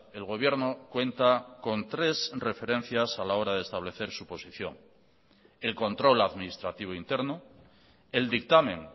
el gobierno cuenta con tres referencias a la hora de establecer su posición el control administrativo interno el dictamen